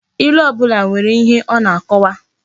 Ilu obula nwere ihe o na akowa